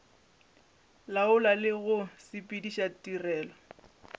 laola le go sepediša tirelo